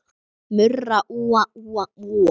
Murra úa, úa, úa.